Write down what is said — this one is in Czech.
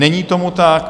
Není tomu tak.